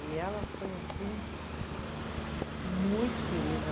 E ela foi assim, muito querida.